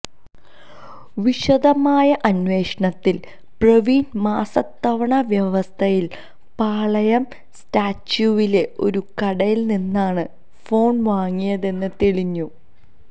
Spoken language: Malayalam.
വിശദമായ അന്വേഷണത്തിൽ പ്രവീൺ മാസത്തവണ വ്യവസ്ഥയിൽ പാളയം സ്റ്റാച്യുവിലെ ഒരു കടയിൽ നിന്നാണ് ഫോൺ വാങ്ങിയതെന്ന് തെളിഞ്ഞു